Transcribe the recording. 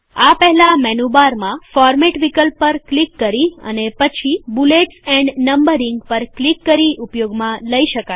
આ પહેલાં મેનુબારમાં ફોરમેટ વિકલ્પ પર ક્લિક કરી અને પછી બૂલેટ્સ એન્ડ નમ્બરીંગ પર ક્લિક કરી ઉપયોગમાં લઇ શકાય છે